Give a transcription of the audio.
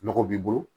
Nɔgɔ b'i bolo